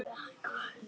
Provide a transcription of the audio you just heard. Hann kvartar ekki.